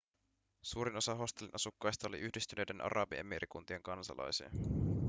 suurin osa hostellin asukkaista oli yhdistyneiden arabiemiirikuntien kansalaisia